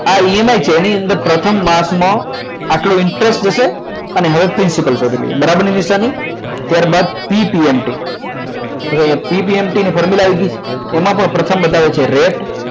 emi છે એની અંદર પ્રથમ માસમાં આટલો interest જશે અને બરાબર ની નિશાની ત્યારબાદ ptmt ની formula આવી જશે એમાં પણ પ્રથમ બતાવે છે રેટ